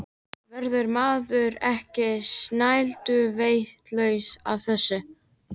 Verður maður ekki snælduvitlaus af þessu?